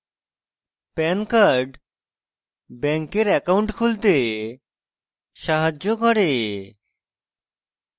pan card bank account খুলতে সাহায্য করে